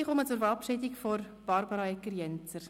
Ich komme zur Verabschiedung von Barbara Egger-Jenzer.